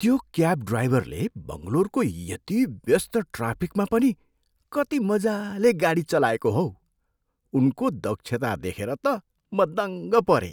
त्यो क्याब ड्राइभरले बङ्गलोरको यति व्यस्त ट्राफिकमा पनि कति मजाले गाडी चलाएको हौ। उनको दक्षता देखेर त म दङ्ग परेँ।